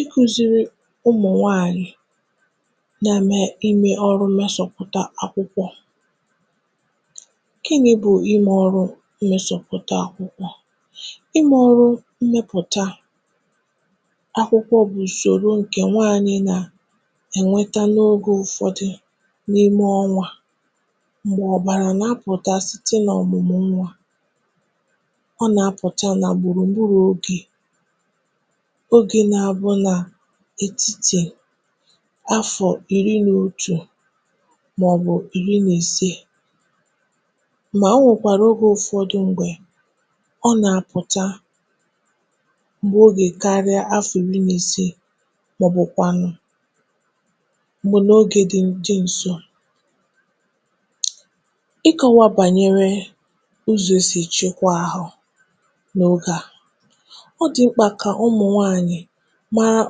"Ikụ̇ziri ụmụ̀ nwaànyị̀ na-eme ime ọrụ mesòpụ̀ta akwụkwọ Gịnị bụ ime ọrụ mesoputa akwụkwọ? Imė ọrụ mmẹpụ̀ta akwụkwọ bụ̀ ùsòro ǹkẹ̀ nwaanyị nà ẹ̀nwẹtẹ n’ogė ụfọdụ n’ime ọnwȧ m̀gbè ọ̀bàrà nà apụ̀ta site n’ọ̀mụmụ̀ nwa. Ọ nà apụ̀ta nà gbùrù gburu oge, Ógè na-abụ ètitè áfọ̀ ìri nà otù màọbụ̀ ìri nà ise mà o nwèkwàrà ogė ụfọdụ mgbè ọ nà-apụ̀ta m̀gbè oge karịa áfọ̀ ìri nà isii maọbụ kwànụ m̀gbè n’ogė dị ǹsò. Ịkọwa banyere ụzọ esi echekwa ahụ n'oge a. Ọ dị mkpa ka ụmụ nwanyị mara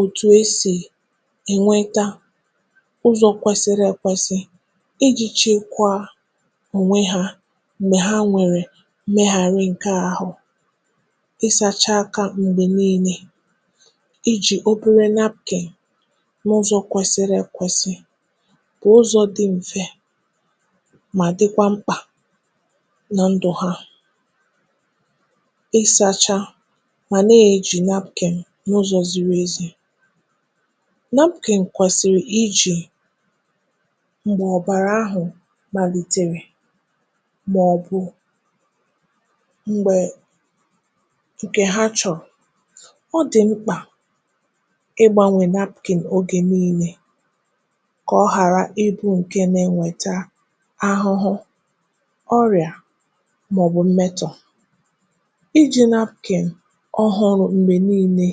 òtù e sì ènweta ụzọ kwesịrị èkwesị iji chịkwaa ònwe hȧ m̀gbè ha nwèrè meghàrị ǹke ahụ̇. Isȧcha aka m̀gbè niile, ijì obere napkin n’ụzọ̇ kwesịrị èkwesị bụ̀ ụzọ̇ dị m̀fe ma dịkwa mkpà nà ndù ha, ịsȧcha mà na-eji napkin n'ụzọ ziri ezi. Napkin kwesịrị ijì m̀gbà ọ̀bàrà ahụ̀ gbalìtèrè maọbụ m̀gbè ǹkè ha chọrọ ọ dị̀ mkpà ịgbȧnwè napkin ógè niile kà ọ hàrà ịbụ ǹkè nà-enweta ahụhụ ọrịa màọ̀bụ̀ mmetọ̀. Iji napkin ọhụrụ mgbé niine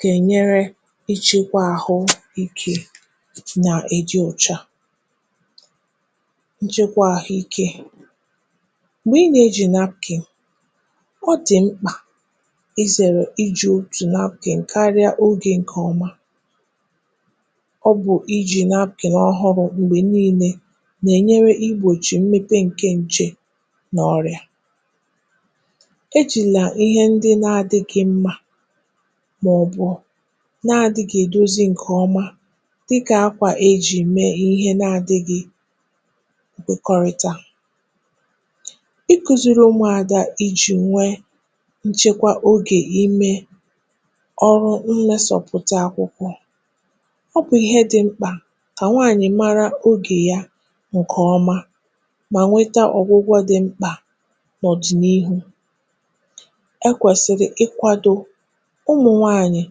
kà ènyere ịchekwa ahụikė nà-èdi ọ̀cha. Nchekwa ahụike, m̀gbè ị nà-ejì napkin, ọ dị̀ mkpà ịzèrè iji̇ otù napkin kara oge nkè ọma. Ọ bụ̀ iji̇ napkin ọhụrụ m̀gbè nii̇lė nà-ènyere igbòchì mmepe ǹke nje nà ọrịa. Ejịla Ihe ndị na-adịgị mma maọbụ na-adịgị edozi ǹkèọma dịkà akwà e jì mee ihe na-adịgị nkwekọrịta. Ị kuziri ụmụada iji nwee nchekwa ogè ime ọrụ nwee sọpụ̀ta akwụkwọ ọ bụ̀ ihe dị mkpà kà nwaanyị̀ mara ogè ya ǹkèọma mà nweta ọgwụgwọ dị mkpà n’ọ̀dị̀nihu. Ekwesiri ikwado ụmụnwanyị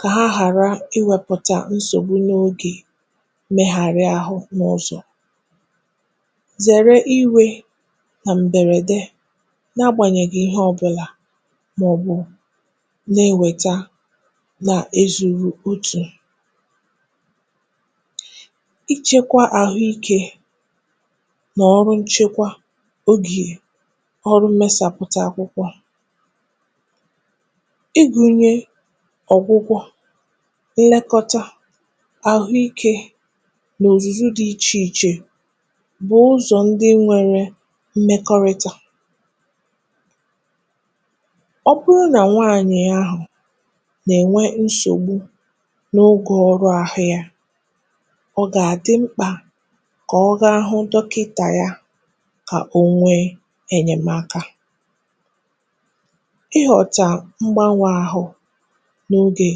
kà ha ghàra iwepụta nsogbụ n’ogè megharịa ahụ̇ n’ọzọ, zèrè iwė nà m̀bèrède n’agbànyègi ihe ọbụ̀là màọbụ̀ na-ewèta nà ezùrù otù. Ịchekwa àhụ ikė nà ọrụ nchekwa ogè ọrụ mmesàpụ̀ta akwụkwọ. Ịgụnye ọ́gwụgwọ̇, ilekọta, ahụike n’òzùzu dị̇ ichè ichè bụ̀ ụzọ̀ ndị nwere mmekọrịta. Ọ bụrụ nà nwaanyị̀ ahụ nà-ènwe nsogbụ n’ogȯ ọrụ ahụ́ yȧ, ọ gàdị mkpà ka ọ ga ahụ dọkịntà ya kà onwee ènyèmaka. Ighọta mgbanwe ahụ n’ogè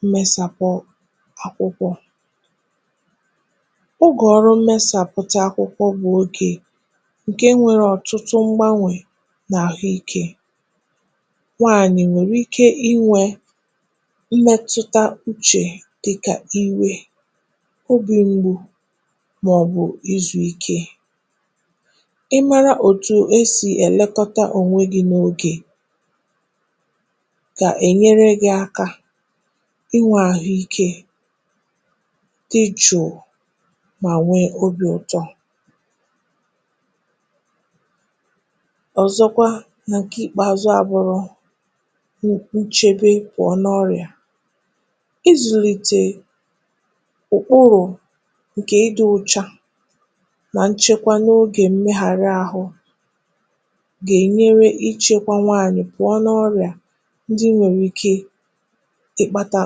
mmesàpụ akwụkwọ. Ụgọ ọrụ mmesàpụta akwụkwọ bụ̀ ogè ǹke nwere ọ̀tụtụ mgbanwè n’àhụike. Nwaanyị̀ nwèrè ike inwė mmetụta uchè dịkà iwe, obì m̀gbu màọbụ̀ izùike. Ị mara otu e sì elekọta ònwe gị n’ogè ka enyere gị aka ịnwe ahụikė dị jùù mà nwee obi̇ ụtọ. Ọzọkwa nà ǹkè ikpȧzụ̇ àbụrụ nchebe pụọ ọ nà ọrịa, ịzùlìtè ụ̀kpụrụ̀ ǹkè ịdị̇ ụcha nà nchekwa n’ogè mmegharị àhụ ga enyere ichekwa nwanyị pụọ n’ọria ndị nwere ike ikpata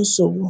nsògbu"